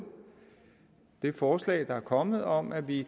det forslag der er kommet om at vi